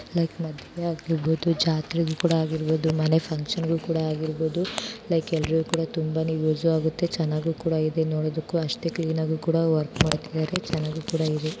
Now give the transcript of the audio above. Like ಮಾಡುವೆ ಆಗಿರಬಹುದು ಇಲ್ಲ ಜಾತ್ರೆ ಆಗಿರಬಹುದು ಮನೆ ಫಂಕ್ಷನ್ ಗೂ ಕೂಡ ಆಗಿರಬಹುದು ಪ್ಲೀಸ್ ಎಲ್ಲರೂ ಕೂಡ ಯೂಸ್ ಆಗುತ್ತೆ ತುಂಬಾ ಚೆನ್ನಾಗಿ ನೀಟಾಗಿ ಇದೆ ಚೆನ್ನಾಗಿ ಕೂಡ ಇದೆ.